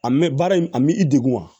A mɛ baara in a m'i degun wa